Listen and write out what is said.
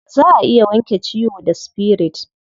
Za a iya wanke ciwo da spirit.